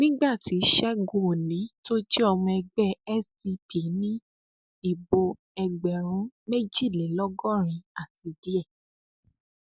nígbà tí ṣẹgun òní tó jẹ ọmọ ẹgbẹ sdp ní ìbò ẹgbẹrún méjìlélọgọrin àti díẹ